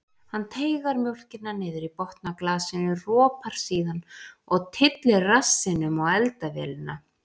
Hann teygar mjólkina niður í botn á glasinu, ropar síðan og tyllir rassinum á eldavélina.